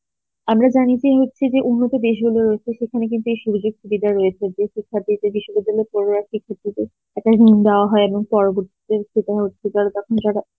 আমরা জানি যে হচ্ছে যে উন্নত দেশগুলো রয়েছে সেখানে কিন্তু রয়েছে বিশ্ববিদ্যালয় একটা দাওয়া হয় এবং পরবর্তী তে তখন তারা,